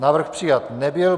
Návrh přijat nebyl.